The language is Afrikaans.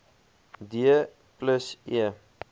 d plus e